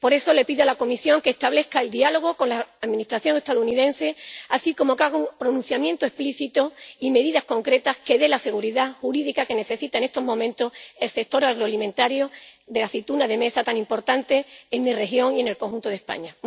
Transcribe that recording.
Por eso le pido a la Comisión que establezca el diálogo con la Administración estadounidense, así como que haga un pronunciamiento explícito y adopte medidas concretas que dé la seguridad jurídica que necesita en estos momentos el sector agroalimentario de la aceituna de mesa, tan importante en mi región y en el conjunto de España.